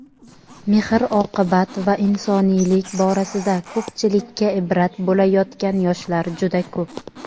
mehr-oqibat va insoniylik borasida ko‘pchilikka ibrat bo‘layotgan yoshlar juda ko‘p.